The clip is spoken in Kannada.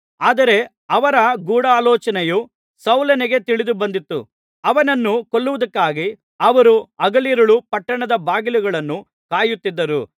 ಆದರೆ ಅವರ ಗೂಢಾಲೋಚನೆಯು ಸೌಲನಿಗೆ ತಿಳಿದುಬಂದಿತು ಅವನನ್ನು ಕೊಲ್ಲುವುದಕ್ಕಾಗಿ ಅವರು ಹಗಲಿರುಳೂ ಪಟ್ಟಣದ ಬಾಗಿಲುಗಳನ್ನು ಕಾಯುತ್ತಿದ್ದರು